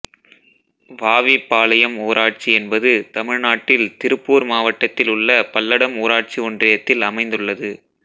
வாவி பாளையம் ஊராட்சி என்பது தமிழ்நாட்டில் திருப்பூர் மாவட்டத்தில் உள்ள பல்லடம் ஊராட்சி ஒன்றியத்தில் அமைந்துள்ளது